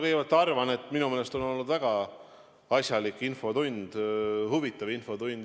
Kõigepealt ma arvan, et minu meelest on olnud väga asjalik ja huvitav infotund.